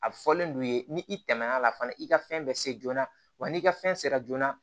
A bɛ fɔlen don u ye ni i tɛmɛn'a la fana i ka fɛn bɛ se joona wa n'i ka fɛn sera joona